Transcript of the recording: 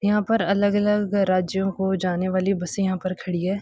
यहां पर अलग-अलग अ राज्यों को जाने वाली बसें यहां पर खड़ी हैं।